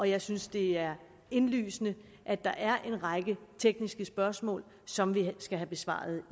jeg synes det er indlysende at der er en række tekniske spørgsmål som vi skal have besvaret